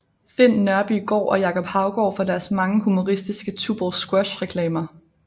Finn Nørbygaard og Jacob Haugaard for deres mange humoristiske Tuborg Squash reklamer